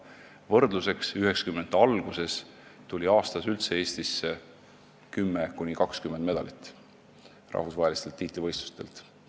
Võrdluseks, et 1990-ndate alguses tuli rahvusvahelistelt tiitlivõistlustelt Eestisse 10–20 medalit aastas.